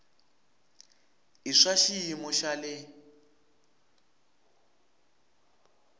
i swa xiyimo xa le